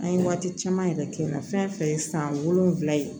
An ye waati caman yɛrɛ kɛ n na fɛn fɛn ye san wolonwula ye